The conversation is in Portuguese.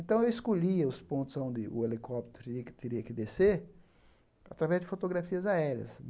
Então eu escolhia os pontos onde o helicóptero teria que teria que descer através de fotografias aéreas.